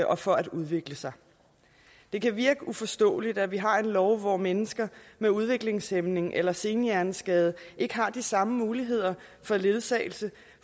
og for at udvikle sig det kan virke uforståeligt at vi har en lov hvor mennesker med udviklingshæmning eller senhjerneskade ikke har de samme muligheder for ledsagelse